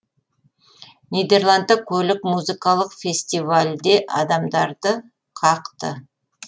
нидерландта көлік музыкалық фестивальде адамдарды қақты